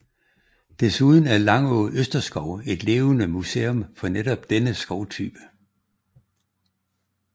Desuden er Langå Østerskov et levende museum for netop denne skovtype